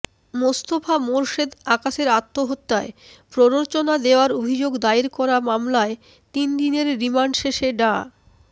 মোস্তফা মোরশেদ আকাশের আত্মহত্যায় প্ররোচনা দেওয়ার অভিযোগে দায়ের করা মামলায় তিন দিনের রিমান্ড শেষে ডা